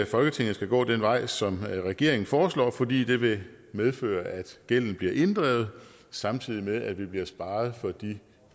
folketinget skal gå den vej som regeringen foreslår fordi det vil medføre at gælden bliver inddrevet samtidig med at vi bliver sparet for de